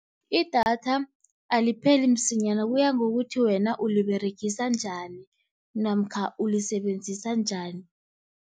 Idatha alipheli msinyana kuya ngokuthi wena uliberegisa njani namkha ulisebenzisa njani.